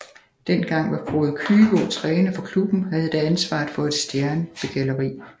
Den gang var Frode Kyvåg træner for klubben og havde da ansvaret for et stjernbegalleri